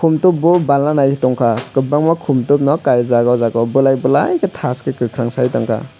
top o barna nai tongkha kwbangma khumtok no kaijak ohjaga o bulai bulai khe thaske kwkhwrang sai tongkha.